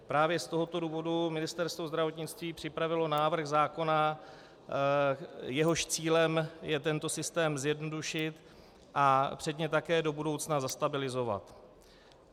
Právě z tohoto důvodu Ministerstvo zdravotnictví připravilo návrh zákona, jehož cílem je tento systém zjednodušit a předně také do budoucna zastabilizovat.